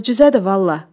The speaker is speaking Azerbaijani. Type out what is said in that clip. Möcüzədir vallah.